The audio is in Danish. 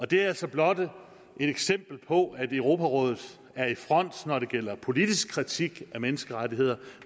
det er altså blot et eksempel på at europarådet er i front når det gælder politisk kritik af menneskerettigheder